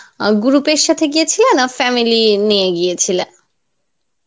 আহ group এর সাথে গিয়েছিলে না family নিয়ে গিয়েছিলা?